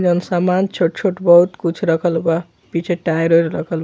जोन समान छोट-छोट बहुत कुछ रखल बा पीछे टायर उयेर रखल --